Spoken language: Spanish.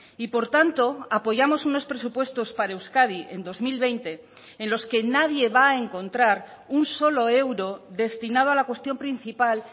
y por tanto apoyamos unos presupuestos para euskadi en dos mil veinte en los que nadie va a encontrar un solo euro destinado a la cuestión principal